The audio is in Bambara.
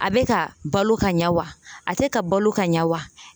A be ka balo ka ɲa wa , a te ka balo ka ɲɛ wa?